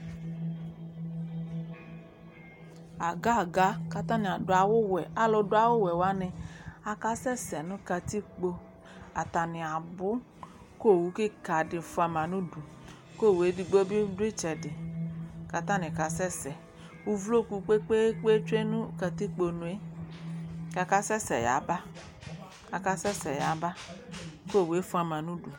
Aga-aga kʋ atanɩ adʋ awʋwɛ, alʋ dʋ awʋwɛ wanɩ akasɛsɛ nʋ katikpo Atanɩ abʋ kʋ owu kɩka dɩ fʋa ma nʋ udu kʋ owu edigbo bɩ dʋ ɩtsɛdɩ kʋ atanɩ kasɛsɛ Uwloku kpe-kpe-kpe tsue nʋ katikponu yɛ kʋ akasɛsɛ yaba, kʋ akasɛsɛ yaba kʋ owu yɛ fʋa ma nʋ udu